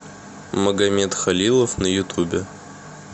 магамед халилов на ютубе